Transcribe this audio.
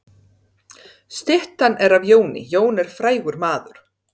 Styttan er af Jóni. Jón er frægur maður.